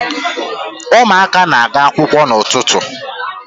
Ụmụaka na-aga akwụkwọ n'ụtụtụ